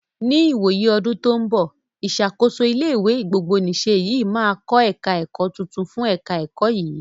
Ní ìwòyí ọdún tó ń bọ̀, ìṣàkóso ilé ìwé gbogbonìse yìí màá kọ́ ẹ̀ka ẹ̀kọ́ tuntun fún ẹ̀ka ẹ̀kọ́ yìí.